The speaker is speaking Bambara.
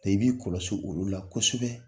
i b'i kɔlɔsi olu la kosɛbɛ